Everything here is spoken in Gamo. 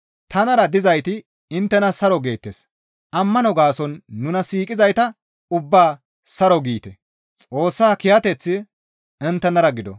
Tanara dizayti inttena saro geettes; ammano gaason nuna siiqizayta ubbaa saro giite; Xoossa kiyateththi inttenara gido.